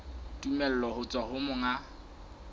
tumello ho tswa ho monga